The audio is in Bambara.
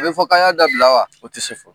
A bɛ fɔ ka y'a dabila wa? o tɛ se fɔ.